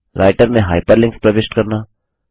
writer में hyperlinks प्रविष्ट करना